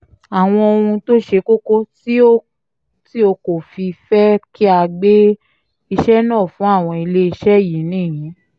àwọn ohun tó ṣe kókó tí o kò fi fẹ́ kí a gbé iṣẹ́ náà fún àwọn iléeṣẹ́ yìí nìyí